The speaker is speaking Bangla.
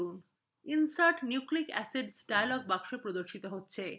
insert nucleic acids dialog box প্রদর্শিত হবে